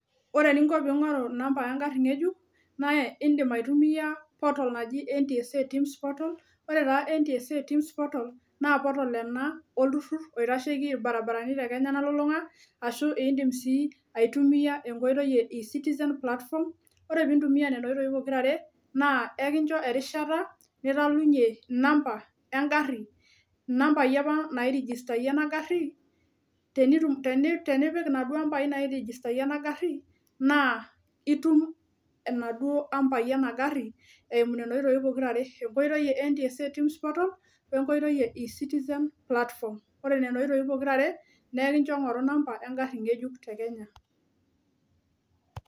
Ore eninko ping'oru inamba engarri ng'ejuk naa indim aitumiyia portal naji NTSA tims portal ore taa NTSA tims portal naa portal ena olturrur naitasheki ilbaribarani te kenya nalulung'a ashu indim sii aitumiyia enkoitoi e e citizen platform ore pintumia nena oitoi pokirare naa ekincho erishata nitalunyie inamba engarri inambai apa nairijistayie ena garri tenitum teni tenipik inaduo ambai nairijistayie ena garri naa itum enaduuo ampaai ena garri eimu nena oitoi pokirare enkoitoi e NTSA tims portal wenkoitoi e e citizen platform ore nena oitoi pokirare nekincho ing'oru inamba engarri ng'ejuk te kenya.